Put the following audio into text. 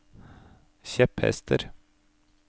kjepphester